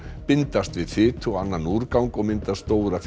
bindast við fitu og annan úrgang og mynda stóra